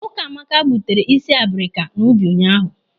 Ukamaka gbutere ịsị abrika n'ubi ụnyaahụ.